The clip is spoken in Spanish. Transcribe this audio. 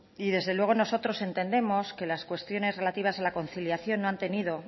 desde luego nosotros entendemos que las cuestiones relativas a la conciliación no han tenido